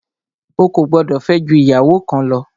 O kò gbọdọ̀ fẹ́ jù ìyàwó kan lọ!